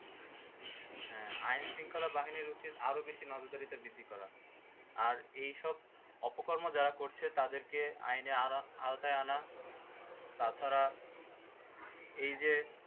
হ্যাঁ আইন শৃঙ্খলা বাহিনীর উচিত আরও বেশি নজরদারিটা বৃদ্ধি করা। এই সব অপকর্ম যারা করছে তাদেরকে আইনের আওতা~ আওতায় আনা তাছাড়া এইযে